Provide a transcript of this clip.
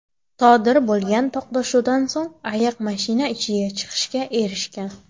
Sodir bo‘lgan to‘qnashuvdan so‘ng ayiq mashina ichidan chiqishga erishgan.